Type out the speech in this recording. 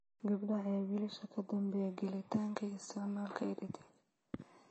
Gabdhaha ayaa wiilasha ka dambeeya gelitaanka iyo isticmaalka EdTech.